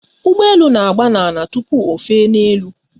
Ụgbọ elu na-agba n'ala tupu ofe n'elu